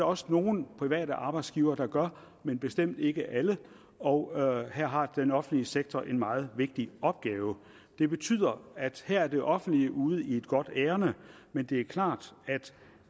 også nogle private arbejdsgivere der gør men bestemt ikke alle og her har den offentlige sektor en meget vigtig opgave det betyder at her er det offentlige ude i et godt ærinde men det er klart at